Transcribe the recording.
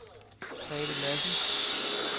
Grethe Lassen